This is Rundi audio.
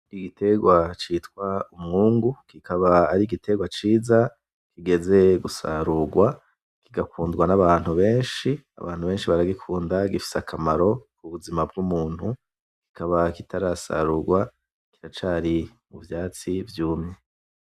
Iguterwa citwa Umwungu kikaba ari igiterwa ciza kigeze gusarurwa kigakundwa n’abantu beshi abantu beshi, baragikunda gifise akamaro k’ubuzima bw’umuntu kikaba kitarasarurwa kiracari mu vyatsi vyumye.